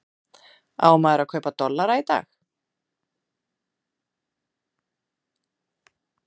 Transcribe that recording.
Á maður að kaupa dollara í dag?